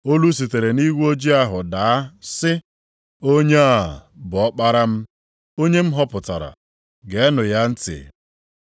Olu sitere nʼigwe ojii ahụ daa sị, “Onye a bụ Ọkpara m, onye m họpụtara; geenụ ya ntị.”